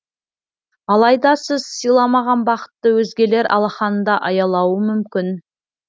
алайда сіз сыйламаған бақытты өзгелер алақанында аялауы мүмкін